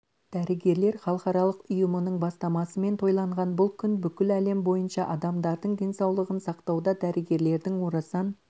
дәрігерлер халықаралық ұйымының бастамасымен тойланған бұл күн бүкіл әлем бойынша адамдардың денсаулығын сақтауда дәрігерлердің орасан